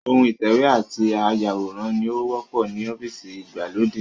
Ohun ìtẹ̀wé àti áyàwòrán ni ó wọ́pọ̀ ní ọ́fíìsì ìgbàlódé